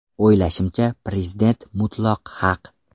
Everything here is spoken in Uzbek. O‘ylashimcha, Prezident mutlaq haq.